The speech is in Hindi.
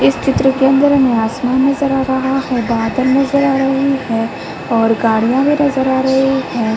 इस चित्र के अंदर हमें आसमान नज़र आ रहा है। बादल नज़र आ रहे हैं और गाड़ियाँ भी नज़र आ रही हैं।